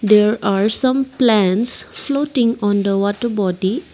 there are some plants floating on the water body.